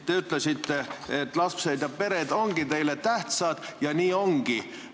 Te ütlesite, et lapsed ja pered ongi teile tähtsad ja nii ongi.